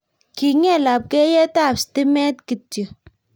kinget lapkeiyetap stimet kityo